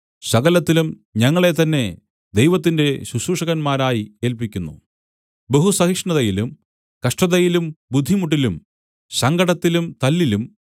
സകലത്തിലും ഞങ്ങളെത്തന്നെ ദൈവത്തിന്റെ ശുശ്രൂഷകന്മാരായി ഏൽപ്പിക്കുന്നു ബഹുസഹിഷ്ണുതയിലും കഷ്ടതയിലും ബുദ്ധിമുട്ടിലും സങ്കടത്തിലും തല്ലിലും